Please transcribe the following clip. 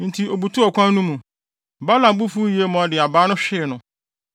Enti obutuw ɔkwan no mu. Balaam bo fuw yiye ma ɔde abaa no hwee no.